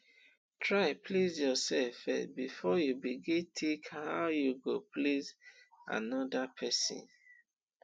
try please yourself first before you begin think how you go please another persin